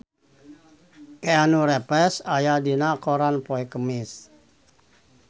Keanu Reeves aya dina koran poe Kemis